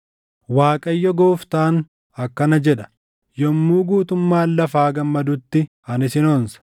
Waaqayyo Gooftaan akkana jedha: Yommuu guutummaan lafaa gammadutti ani sin onsa.